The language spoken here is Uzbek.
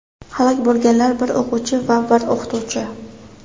Halok bo‘lganlar: bir o‘quvchi va bir o‘qituvchi.